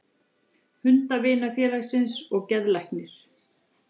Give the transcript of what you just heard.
Hundavinafélagsins og geðlæknir.